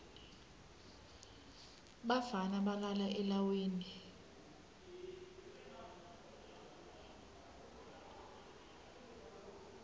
bafana balala elawini